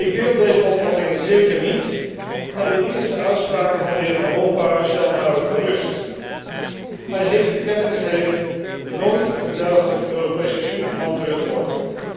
Ik deel deze opvattingen zeker niet en de eerste uitspraken van de heer Van Rompuy stellen mij ook gerust. Hij heeft te kennen gegeven nooit een dergelijke Europese superman te willen worden.